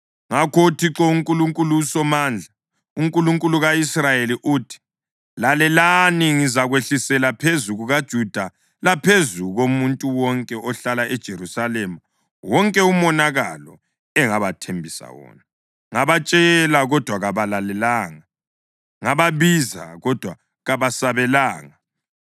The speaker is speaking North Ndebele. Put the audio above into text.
Ngakho uThixo, uNkulunkulu uSomandla, uNkulunkulu ka-Israyeli uthi; ‘Lalelani, ngizakwehlisela phezu kukaJuda laphezu komuntu wonke ohlala eJerusalema wonke umonakalo engabathembisa wona. Ngabatshela, kodwa kabalalelanga; ngababiza, kodwa kabasabelanga.’ ”